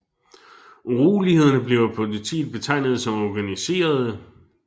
Urolighederne blev af politiet betegnet som organiserede